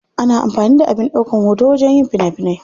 Ana amfani da abin daukan hoto wajen yin fina finai.